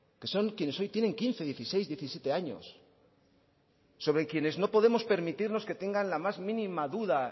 que son quienes hoy tienen quince dieciséis diecisiete años sobre quienes no podemos permitirnos que tengan la más mínima duda